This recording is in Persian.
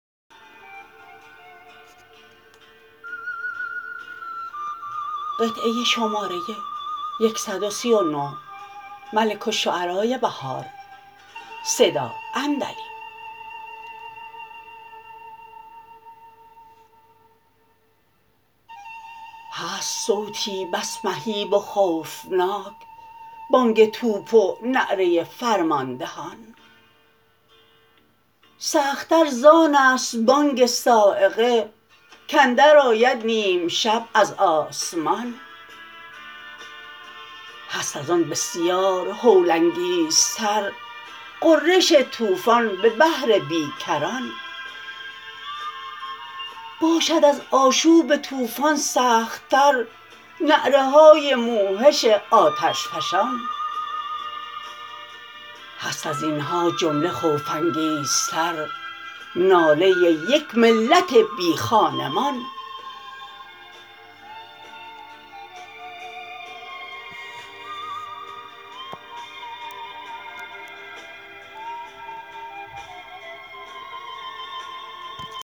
هست صوتی بس مهیب و خوفناک بانگ توپ و نعره فرماندهان سخت تر زانست بانگ صاعقه کاندر آید نیم شب از آسمان هست از آن بسیار هول انگیزتر غرش طوفان به بحر بی کران باشد از آشوب طوفان سخت تر نعره های موحش آتش فشان هست از اینها جمله خوف انگیزتر ناله یک ملت بی خانمان